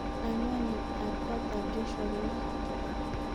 Anwanit ab kotab Joshua ko ne